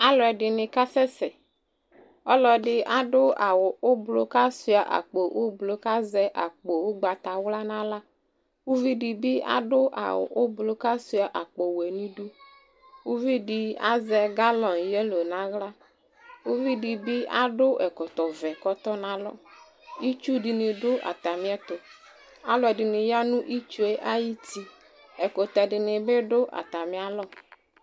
Alʋɛdɩnɩ kasɛ sɛ : ɔlɔdɩ adʋ awʋ ʋblʋ , k'asʋɩa akpo ʋblʋ , k'azɛ akpo ʋgbatawla n'aɣla ;uvidɩ bɩ adʋ adʋ awʋ ʋblʋ k'asʋɩa akpowɛ n'idu Uvidɩ azɛ galɔnɩ yelo n'aɣla , uvidɩ bɩ akɔ ɛkɔtɔvɛ k'ɔtɔ n'alɔ Itsudɩnɩ dʋ atamɩɛtʋ , alʋɛdɩnɩ ya nʋ itsue ay'uti , ɛkʋtɛdɩnɩ bɩ dʋ atamɩalɔ